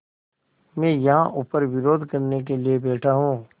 मैं यहाँ ऊपर विरोध करने के लिए बैठा हूँ